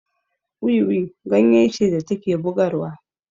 Wiwi ganye ce da take bugarwa